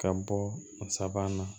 Ka bɔ a sabanan na